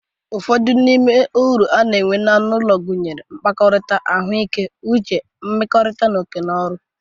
Ụfọdụ n'ime uru na-enwe anụ ụlọ, gụnyere, mkpakọrita, ahụike uche, nmekorita, na oke no ọrụ.